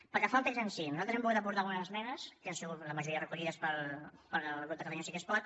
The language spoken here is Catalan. pel que fa al text en si nosaltres hem volgut aportar algunes esmenes que han sigut la majoria recollides pel grup de catalunya sí que es pot